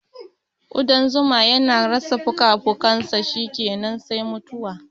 Ƙudan zuma yana rasa fukafukinsa shikenan sai mutuwa